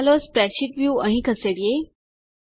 ચાલો spreadsheet view અહીં ખસેડીએ